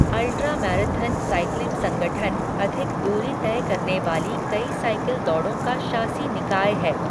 Ultra marathon cycling संगठन अधिक दूरी तय करने वाली कई साइकिल दौड़ों का शासी निकाय है।